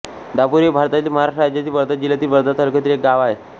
दापोरी हे भारतातील महाराष्ट्र राज्यातील वर्धा जिल्ह्यातील वर्धा तालुक्यातील एक गाव आहे